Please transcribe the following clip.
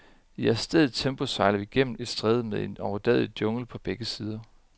I adstadigt tempo sejler vi gennem et stræde med en overdådig jungle på begge sider.